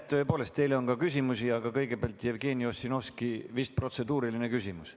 Tõepoolest, teile on ka küsimusi, aga kõigepealt on Jevgeni Ossinovskil vist protseduuriline küsimus.